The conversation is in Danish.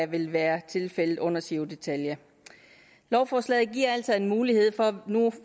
vil være tilfældet under giro ditalia lovforslaget giver altså en mulighed for nu